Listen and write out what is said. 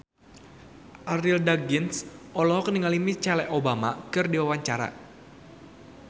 Arie Daginks olohok ningali Michelle Obama keur diwawancara